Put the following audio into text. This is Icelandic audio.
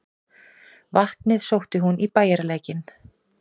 Vatnið sótti hún í bæjarlækinn.